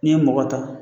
N'i ye mɔgɔ ta